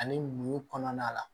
Ani mun kɔnɔna la